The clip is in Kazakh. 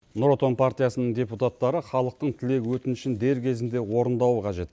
нұр отан партиясының депутаттары халықтың тілек өтінішін дер кезінде орындауы қажет